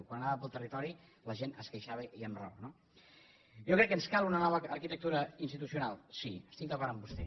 quan anava pel territori la gent es queixava i amb raó no jo crec que ens cal una nova arquitectura institucional sí estic d’acord amb vostè